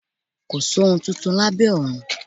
Kòsí ohun tuntun lábẹ́ ọ̀run